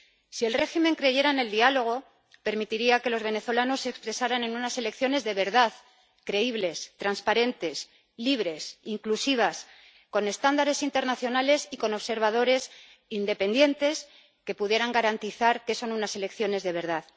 Si el régimen creyera en el diálogo, permitiría que los venezolanos se expresaran en unas elecciones de verdad creíbles, transparentes, libres, inclusivas, con estándares internacionales y con observadores independientes que pudieran garantizar que son unas elecciones de verdad.